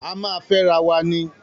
A máa fẹ́ ara wa ni.